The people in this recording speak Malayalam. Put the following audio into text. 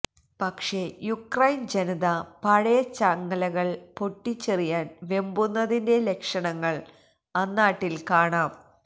പക്ഷെ യുക്രൈന്ജനത പഴയ ചങ്ങലകള് പൊട്ടിച്ചെറിയാന് വെമ്പുന്നതിന്റെ ലക്ഷണങ്ങള് അന്നാട്ടില് കാണാം